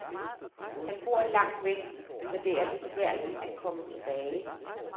Han bor langt væk, så det er for besværligt at komme tilbage.